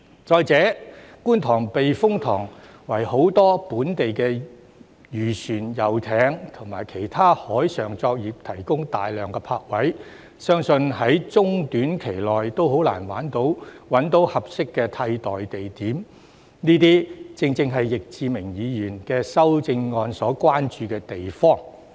再者，觀塘避風塘為很多本地漁船、遊艇和其他海上作業者提供大量泊位，相信在中短期內也很難找到合適的替代地點，這些正正是易志明議員的修正案所關注之處。